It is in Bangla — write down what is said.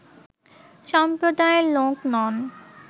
সম্প্রদায়ের লোক নন